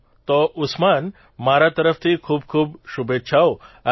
ચાલો તો ઉસ્માન મારા તરફથી ખૂબખૂબ શુભેચ્છાઓ